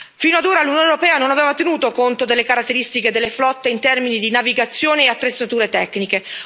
Fino ad ora l'Unione europea non aveva tenuto conto delle caratteristiche delle flotte in termini di navigazione e attrezzature tecniche.